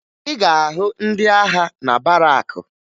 Ị ga-ahụ ndị agha na barakụ